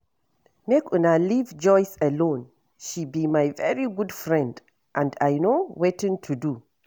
Make una leave Joyce alone, she be my very good friend and I know wetin to do